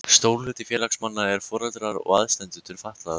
Stór hluti félagsmanna eru foreldrar og aðstandendur fatlaðra.